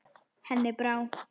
Henni brá.